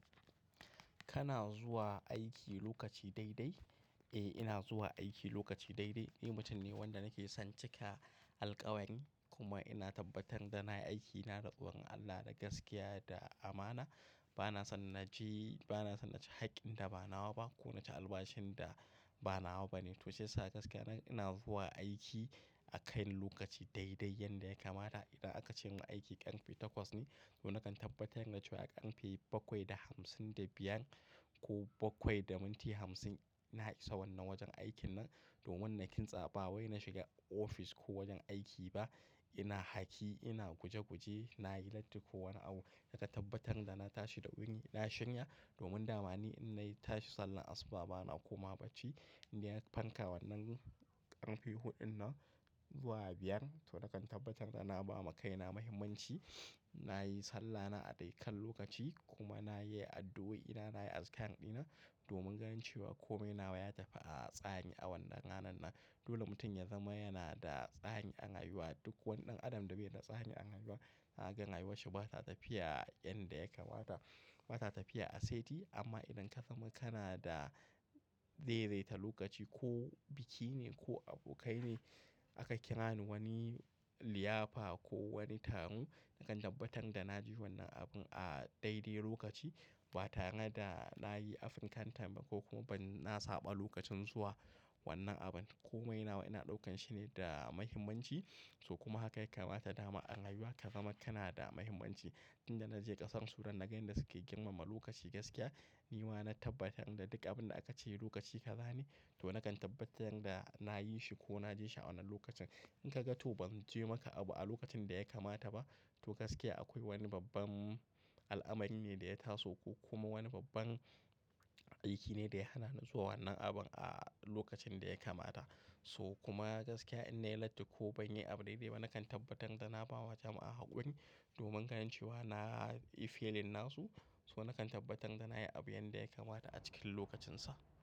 Kana zuwa aiki lokaci daidai? Eh, ina zuwa aiki lokaci daidai. Ni mutum ne wanda nake son cika alkawari kuma ina tabbatar da na yi aikina da wurin Allah da gaskiya da amana. Bana son na je, bana son na ci hakkin da ba nawa ba ko na ci albashin da ba nawa ba ne. To shiyasa gaskiya ina zuwa aiki a kai lokaci daidai yanda ya kamata. Idan aka ce in ga aiki ƙarfe takwas ne, to nakan tabbatar da cewa ƙarfe bakwai da hamsin da biyan ko bakwai da minti hamsin ina isa wannan wajen aikin nan. Domin nakin tsabawai na shiga ofis ko wajen aiki ba, ina haki, ina guje-guje, nayi latti ko wani abu da ka tabbatar da na tashi da wuri, na shirya domin damani in na tashi sallah asuba bana komawa bacci. In na farka wannan ƙarfe huɗun nan zuwa biyar to nakan tabbatar da na ba ma kaina mahimmanci. Na yi sallana a daikan lokaci kuma na yi addu'o'ina, na yi azumi ɗina domin ganin cewa kome nawa ya tafi a tsari a wannan ranan nan. Dole mutum ya zama yana da tsari a rayuwa. Duk wani ɗan adam da bai na tsari a rayuwa, a gan rayuwarsa ba ta tafiya yanda ya kamata, ba ta tafiya aseti. Amma idan ka zama kana da daidaita lokaci, ko biki ne ko abokai ne aka kira ni wani liyafa ko wani taro, nakan tabbatar da na je wannan abun a daidai lokaci ba tare da na yi afinkan tambaya ko kuma ban na saba lokacin zuwa wannan abun. Kome nawa ina ɗaukan shi ne da mahimmanci. To kuma haka ya kamata dama a rayuwa ka zama kana da mahimmanci. Inda na je ƙasar Sudan na gani da suke girmama lokaci gaskiya. Ni ma na tabbatar da duk abin da aka ce lokaci ka gani, to nakan tabbatar da na yi shi ko na je shi a wannan lokacin. In ka ga to ban je maka abu a lokacin da ya kamata ba, to gaskiya akwai wani babban al'amari ne da ya taso ko kuma wani babban aiki ne da ya hana ni zuwa wannan abun a lokacin da ya kamata. So kuma gaskiya in nayi latti ko ban yi abu dai dai ba, nakan tabbatar da na ba wa jama'a hakuri domin ganin cewa na yi feeling na su. So nakan tabbatar da na yi abu yanda ya kamata a cikin lokacinsa.